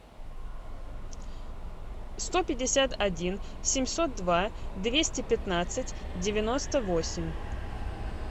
сто пятьдесят один семьсот два двести пятнадцать девяносто восемь